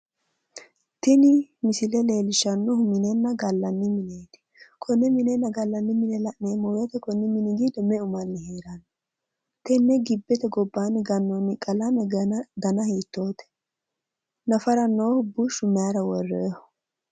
Tini misile leellishshannohu minenna gallanni mineeti konne minenna gallanni mine la'neemmo woyite Kuni mini giddo meu manni heeranno? Tenne gibbete gobbaanni gannoonni qalame dana hiittoote? nafara noohu bushshu mayira worroonniho?